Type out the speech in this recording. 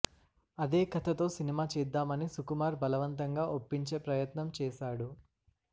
అదే కథతో సినిమా చేద్దామని సుకుమార్ బలవంతంగా ఒప్పించే ప్రయత్నం చేశాడు